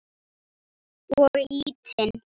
Og ýtinn.